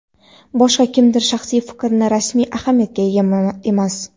Boshqa kimningdir shaxsiy fikri rasmiy ahamiyatga ega emas.